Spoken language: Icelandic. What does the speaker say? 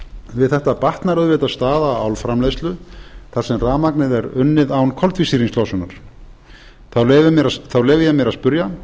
við þetta batnar auðvitað staða álframleiðslu þar sem rafmagnið er unnið án koltvísýringslosunar þá leyfi ég mér að spyrja